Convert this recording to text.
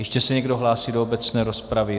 Ještě se někdo hlásí do obecné rozpravy?